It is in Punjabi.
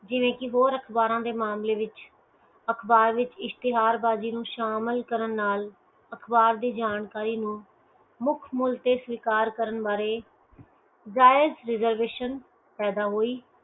ਜਿਵੇਂ ਕੀ ਹੋਰ ਅਖਬਾਰਾਂ ਦੇ ਮਾਮਲੇ ਵਿਚ ਅਖਬਾਰ ਵਿਚ ਇਸ਼ਤਾਰਬਾਜੀ ਨੂੰ ਸ਼ਾਮਲ ਕਰਨ ਅਖਬਾਰ ਦੀ ਜਾਣਕਾਰੀ ਨੂੰ ਮੁੱਖ ਮੁੱਲ ਤੇ ਸਵੀਕਾਰ ਕਰਨ ਬਾਰੇ ਜਾਇਜ reservation ਪੈਦਾ ਹੋਈ